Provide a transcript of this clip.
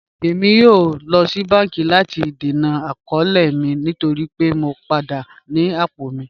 Ẹ̀mi yóò lọ sí bánkì láti dẹ̀nà àkọọ̀lẹ̀ mi nítorí pẹ̀ mọ̀ padà ní apọ̀ mi